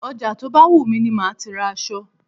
Ọjà tó bá wù mí ni máa ti ra èso.